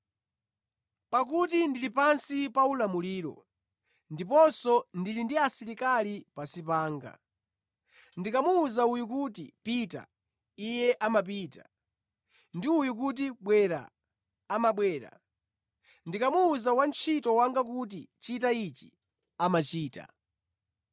Pakuti ndili pansi paulamuliro, ndiponso ndili ndi asilikali pansi panga. Ndikamuwuza uyu kuti, ‘Pita,’ iye amapita; ndi uyo kuti, ‘Bwera,’ amabwera. Ndikamuwuza wantchito wanga kuti, ‘Chita ichi,’ amachita.”